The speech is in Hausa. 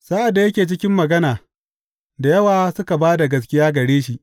Sa’ad da yake cikin magana, da yawa suka ba da gaskiya gare shi.